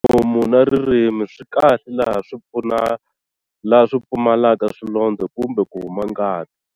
Nomu na ririmi swi kahle laha swi pfumalaka swilondzo kumbe ku huma ngati?